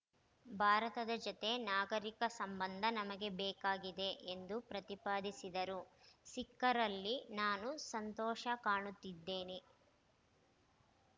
ಭಾರತದ ಜತೆ ನಾಗರಿಕ ಸಂಬಂಧ ನಮಗೆ ಬೇಕಾಗಿದೆ ಎಂದು ಪ್ರತಿಪಾದಿಸಿದರು ಸಿಖ್ಖರಲ್ಲಿ ನಾನು ಸಂತೋಷ ಕಾಣುತ್ತಿದ್ದೇನೆ